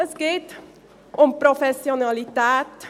Es geht um die Professionalität.